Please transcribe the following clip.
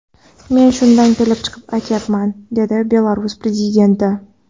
Men shundan kelib chiqib aytayapman”, dedi Belarus prezidenti.